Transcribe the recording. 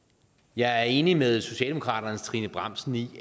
jeg er enig med socialdemokratiets trine bramsen i